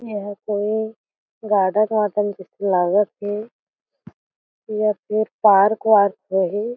एहा तो गाडन वाडन कुछ लागत हे या फिर पार्क वार्क होही ।